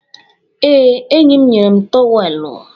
Ee, enyi m nyere m trowelu